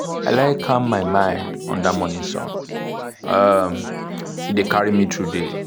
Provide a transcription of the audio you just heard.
i like calm my mind under morning sun um — e dey carry me through day.